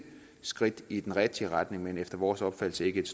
skridt i den rigtige retning men efter vores opfattelse ikke et